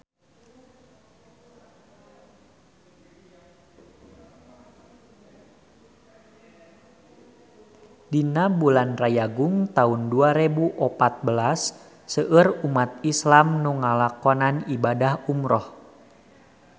Dina bulan Rayagung taun dua rebu opat belas seueur umat islam nu ngalakonan ibadah umrah